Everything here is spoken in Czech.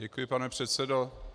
Děkuji, pane předsedo.